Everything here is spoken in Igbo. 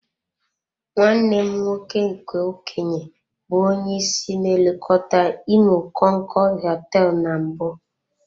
Nwanne m nwoke nke okenye bụ onye isi na-elekọta imo konkood hoteelu na mbụ.